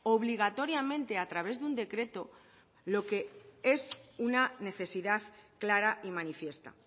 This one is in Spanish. obligatoriamente a través de un decreto lo que es una necesidad clara y manifiesta